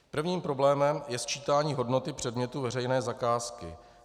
Prvním problémem je sčítání hodnoty předmětu veřejné zakázky.